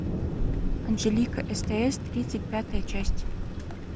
анжелика стс тридцать пятая часть